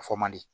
A fɔ man di